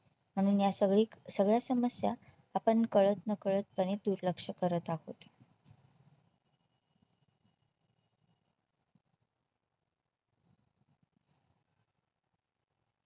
म्हणून या सगळीक सगळ्या समस्या आपण कळत नकळत पणे दुर्लक्ष करत आहोत